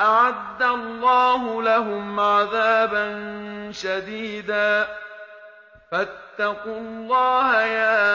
أَعَدَّ اللَّهُ لَهُمْ عَذَابًا شَدِيدًا ۖ فَاتَّقُوا اللَّهَ يَا